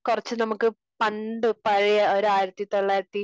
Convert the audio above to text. കുറച്ച നമുക്ക്, പണ്ട് പഴയ ഒരു ആയിരത്തി തൊള്ളായിരത്തി